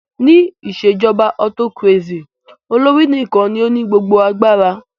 Ní ìṣèjọba autocracy, olórí nìkan ní o ní gbogbo agbara.